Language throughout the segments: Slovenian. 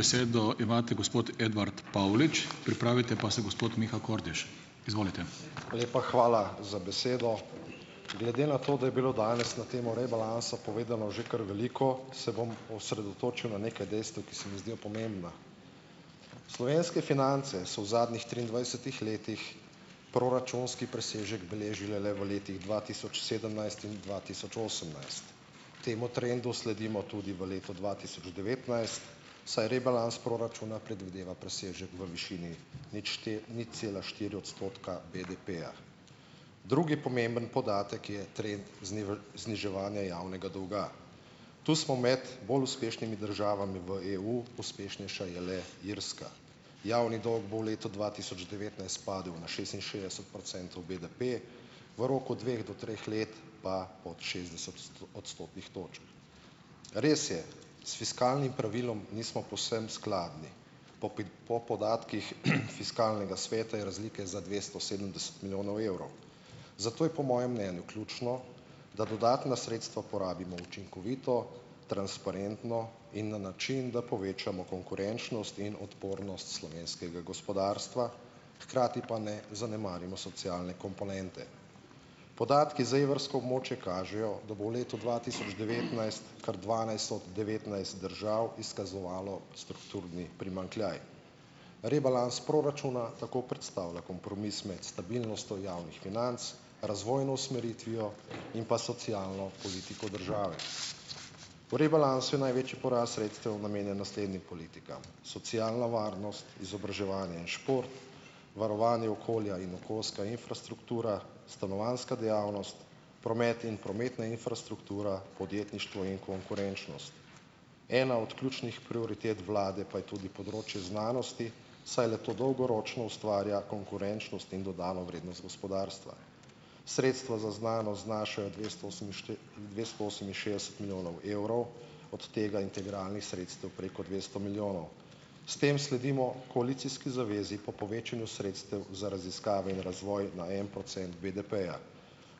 Besedo imate gospod Edvard Pavlič, pripravite pa se gospod Miha Kordiš. Izvolite. Lepa hvala za besedo. Glede na to, da je bilo danes na temo rebalansa povedano že kar veliko, se bom osredotočil na neka dejstva, ki se mi zdijo pomembna. Slovenske finance so v zadnjih triindvajsetih letih proračunski presežek beležile le v letih dva tisoč sedemnajst in dva tisoč osemnajst. Temu trendu sledimo tudi v letu dva tisoč devetnajst, saj rebalans proračuna predvideva presežek v višini nič nič cela štiri odstotka BDP-ja. Drugi pomemben podatek je trend zniževanja javnega dolga, tu smo med bolj uspešnimi državami v EU. Uspešnejša je le Irska, javni dolg bo v letu dva tisoč devetnajst padel na šestinšestdeset procentov BDP, v roku dveh do treh let pa pod šestdeset odstotnih točk. Res je, s fiskalnim pravilom nismo povsem skladni. Po po podatkih fiskalnega sveta je razlike za dvesto sedemdeset milijonov evrov, zato je po mojem mnenju ključno, da dodatna sredstva porabimo učinkovito, transparentno in na način, da povečamo konkurenčnost in odpornost slovenskega gospodarstva, hkrati pa ne zanemarimo socialne komponente. Podatki za evrsko območje kažejo, da bo v letu dva tisoč devetnajst kar dvanajst od devetnajst držav izkazovalo strukturni primanjkljaj. Rebalans proračuna tako predstavlja kompromis med stabilnostjo od javnih financ, razvojno usmeritvijo in pa socialno politiko države. V rebalansu je največji porast sredstev namenjen naslednjim politikam: socialna varnost, izobraževanje in šport, varovanje okolja in okoljska infrastruktura, stanovanjska dejavnost, promet in prometna infrastruktura, podjetništvo in konkurenčnost, ena od ključnih prioritet vlade pa je tudi področje znanosti, saj le-to dolgoročno ustvarja konkurenčnost in dodano vrednost gospodarstva, sredstvo za znanost znašajo dvesto dvesto oseminšestdeset milijonov evrov, od tega integralnih sredstev preko dvesto milijonov, s tem sledimo koalicijski zavezi po povečanju sredstev za raziskave in razvoj na en procent BDP-ja.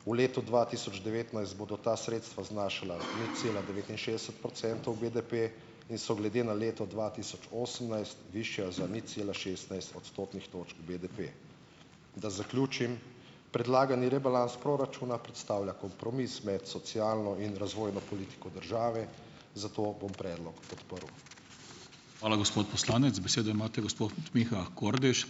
V letu dva tisoč devetnajst bodo ta sredstva znašala nič cela devetinšestdeset procentov BDP in so glede na leto dva tisoč osemnajst zvišajo za nič cela šestnajst odstotnih točk BDP. Da zaključim, predlagani rebalans proračuna predstavlja kompromis med socialno in razvojno politiko države, zato bom predlog podprl. Hvala, gospod poslanec, besedo imate gospod Miha Kordiš.